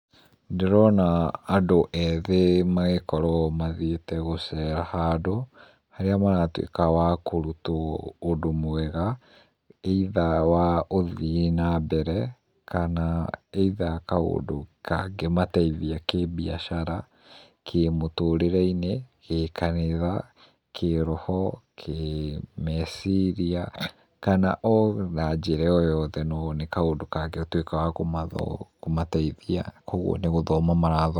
Ndĩrona andũ ethĩ magĩkorwo mathiĩte gũceera handũ harĩa maratuĩka akũrutwo ũndũ mwega either wa gũthiĩ na mbere kana either kaũndũ kangĩmateithia kĩbiacara, kĩmũtũrĩre-inĩ, gĩkanitha, kĩroho, kĩmeciria kana ona njĩra o yothe no mone kaũndũ kangĩtuĩka ga kũmateithia kwoguo nigũthoma marathoma.